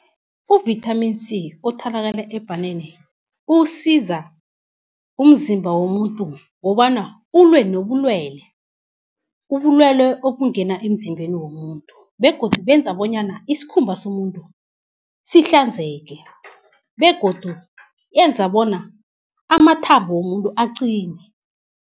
Uvithamini C othalakala ebhaneni usiza umzimba womuntu wobana ulwe nobulwele, ubulwele obungena emzimbeni womuntu, begodu benza bonyana iskhumba somuntu sihlanzeke, begodu yenza bona amathambo womuntu aqine.